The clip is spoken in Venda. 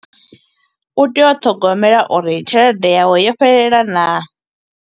U tea u ṱhogomela uri tshelede yawe, yo fhelela naa.